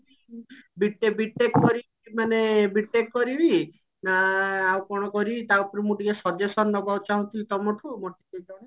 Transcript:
B. TECH B. TECH କରିକି ମାନେ B. TECH କରିବି ନା ଆଉ କଣ କରିବି ତା ଉପରେ ମୁଁ ଟିକେ suggestion ନବାକୁ ଚାହୁଁଥିଲି ତମଠୁ